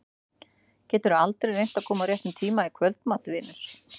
Geturðu aldrei reynt að koma á réttum tíma í kvöldmat, vinur?